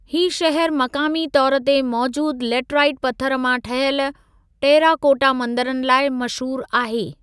ही शहर मक़ामी तौर ते मौजूदु लेटराइट पथरु मां ठहियल टेराकोटा मंदरनि लाइ मशहूरु आहे।